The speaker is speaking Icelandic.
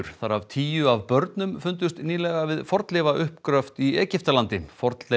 þar af tíu af börnum fundust nýlega við fornleifauppgröft í Egyptalandi